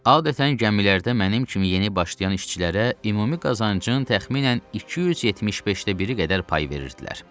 Adətən gəmilərdə mənim kimi yeni başlayan işçilərə ümumi qazancın təxminən 275də biri qədər pay verirdilər.